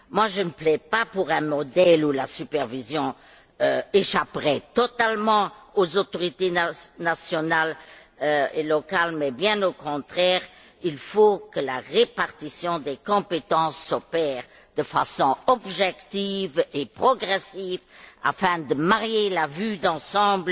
Je ne plaide pas pour un modèle où la supervision échapperait totalement aux autorités nationales et locales, mais bien au contraire, il faut que la répartition des compétences s'opère de façon objective et progressive afin de concilier vue d'ensemble